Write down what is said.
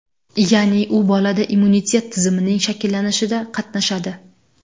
Ya’ni, u bolada immunitet tizimining shakllanishida qatnashadi.